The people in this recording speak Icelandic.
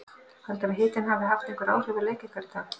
Heldurðu að hitinn hafi haft einhver áhrif á leik ykkar í dag?